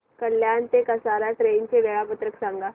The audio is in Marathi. कल्याण ते कसारा ट्रेन चे वेळापत्रक सांगा